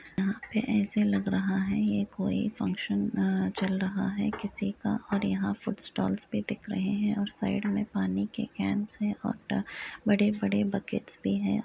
यहाँ पे ऐसे लग रहा है ये कोई फंक्शन चल रहा है किसी का और यहाँ पर फूड स्टाल्स भी दिख रहे हैं और साइड में पानी के कैन्स हैं और बड़े-बड़े बकेट्स भी हैं।